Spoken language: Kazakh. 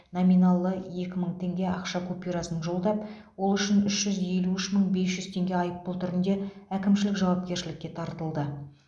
номиналы екі мың теңге ақша купюрасын жолдап ол үшін үш жүз елу үш мың бес жүз теңге айыппұл түрінде әкімшілік жауапкершілікке тартылды